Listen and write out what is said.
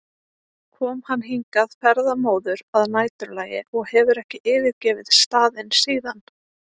kom hann hingað ferðamóður að næturlagi og hefur ekki yfirgefið staðinn síðan.